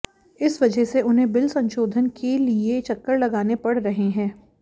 इस वजह से उन्हें बिल संशोधन के लिए चक्कर लगाने पड़ रहे हैं